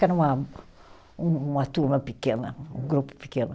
Que era uma, um uma turma pequena, um grupo pequeno.